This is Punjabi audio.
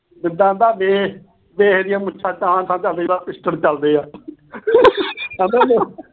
ਕਹਿੰਦਾ ਵੇਖ ਇਹ ਦੀਆਂ ਮੁੱਛਾਂ, ਠਾਹ ਠਾਹ ਜਿਵੇਂ pistol ਚਲਦੇ ਆ।